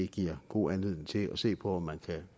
giver god anledning til at se på om man kan